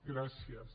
gràcies